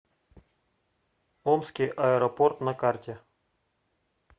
омский аэропорт на карте